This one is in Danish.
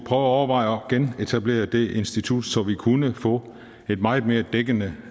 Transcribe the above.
at overveje at genetablere det institut så vi kunne få en meget mere dækkende